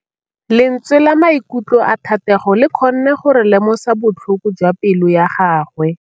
Lentswe la maikutlo a Thategô le kgonne gore re lemosa botlhoko jwa pelô ya gagwe.